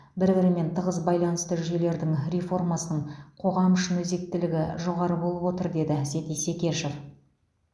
бір бірімен тығыз байланысты жүйелердің реформасының қоғам үшін өзектілігі жоғары болып отыр деді әсет исекешев